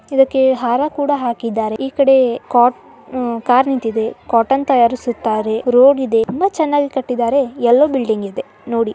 ಇದಕ್ಕೆ ಹಾರ ಕೂಡ ಹಾಕಿದರೆ ಇಲ್ಲಿ ಕೋ ಕಾರ ನಿಂತಿದೆ ಕಾಟನ್ ತಯಾರಿಸುತ್ತಾರೆ ರೋಡ್ ಇದೆ ಎಲ್ಲ ಚೆನಾಗಿದೆ ಯಲ್ಲೋ ಬಿಲ್ಡಿಂಗ್ ಇದೆ ನೋಡಿ.